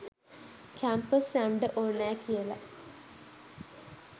Campus යන්ඩ ඕනෑ කියලා.